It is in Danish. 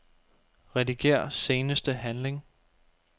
Rediger seneste handling.